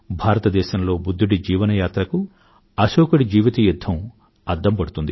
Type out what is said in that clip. భారతదేశంలో బుధ్ధుడి జీవన యాత్రకు అశోకుడి జీవిత యుధ్ధం అద్దం పడుతుంది